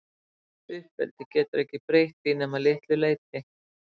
gott uppeldi getur ekki breytt því nema að litlu leyti